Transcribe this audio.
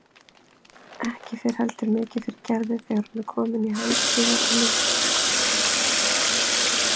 Ekki fer heldur mikið fyrir Gerði þegar hún er komin í Handíða- og myndlistaskólann.